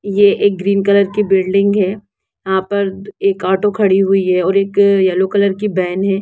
ये एक green colour की बिल्डिंग है यहाँ पर एक ऑटो खड़ी हुई है और एक येल्लो कलर की वैन है।